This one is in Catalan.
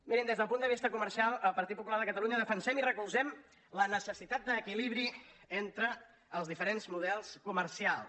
mirin des del punt de vista comercial al partit popular de catalunya defensem i recolzem la necessitat d’equilibri entre els diferents models comercials